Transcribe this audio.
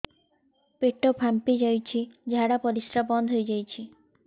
ପେଟ ଫାମ୍ପି ଯାଇଛି ଝାଡ଼ା ପରିସ୍ରା ବନ୍ଦ ହେଇଯାଇଛି